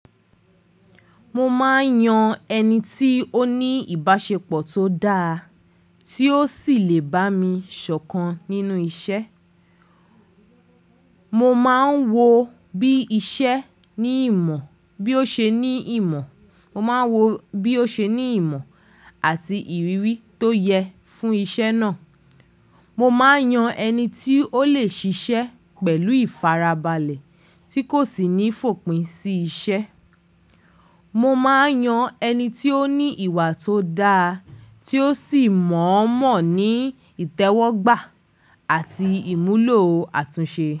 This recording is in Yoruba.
Mo máa ń yan ẹni tí ó ní ìbáṣepọ̀ tó dáa tí ó sì lè bá mi sọ̀kan nínú iṣẹ́. Mo máa ń wo bí iṣẹ́ ní ìmọ̀, bí ó ṣe ní ìmọ̀. Mo máa ń wo bí ó ṣe ní ìmọ̀ àti ìrírí tó yẹ fún iṣẹ́ náà. Mo máa ń yan ẹni tí ó lè ṣiṣẹ́ pẹ̀lú ìfarabalẹ̀ tí kò sì ní fòpin sí iṣẹ́. Mo máa ń yan ẹni tí ó ní ìwà tó dáa tí ó sì mọ̀ọ́mọ̀ ní ìtẹ́wọ́gbà àti ìmúlò àtúnṣe.